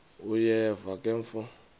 uyeva ke mfo